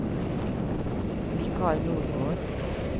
Mikael Nordgård